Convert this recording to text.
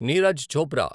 Neeraj Chopra